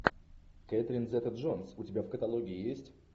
кэтрин зета джонс у тебя в каталоге есть